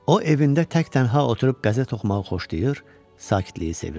O, evində tək-tənha oturub qəzet oxumağı xoşlayır, sakitliyi sevirdi.